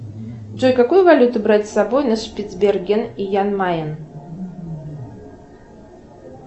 джой какую валюту брать с собой на шпицберген и ян майен